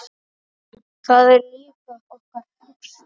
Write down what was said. Það er líka okkar hugsun.